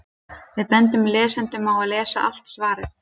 Við bendum lesendum á að lesa allt svarið.